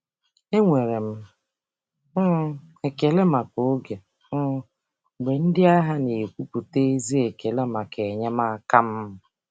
M na-enwe ekele maka oge ndị ahịa na-egosipụta ezi ekele maka enyemaka m.